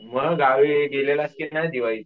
मग गावी गेलेलास कि नाही दिवाळीत?